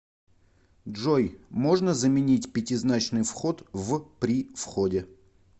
джой можно заменить пятизначный вход в при входе